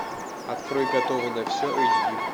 открой готова на все эйч ди